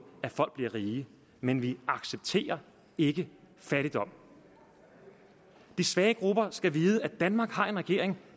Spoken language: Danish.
at folk bliver rige men vi accepterer ikke fattigdom de svage grupper skal vide at danmark har en regering